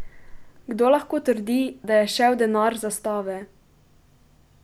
Kdo lahko trdi, da je šel denar za stave?